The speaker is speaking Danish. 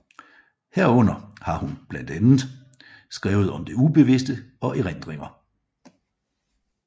Herunder har hun blandt andet skrevet om det ubeviste og erindringer